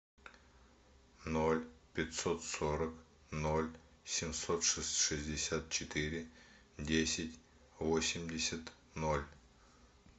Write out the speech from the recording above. ноль пятьсот сорок ноль семьсот шестьдесят четыре десять восемьдесят ноль